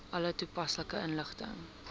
alle toepaslike inligting